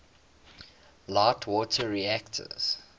light water reactors